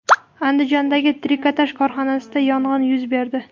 Andijondagi trikotaj korxonasida yong‘in yuz berdi.